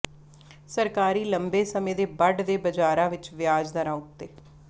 ਸਰਕਾਰੀ ਲੰਬੇ ਸਮੇਂ ਦੇ ਬਡ ਦੇ ਬਾਜ਼ਾਰਾਂ ਵਿਚ ਵਿਆਜ ਦਰਾਂ ਉੱਤੇ